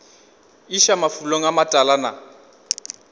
iša mafulong a matala na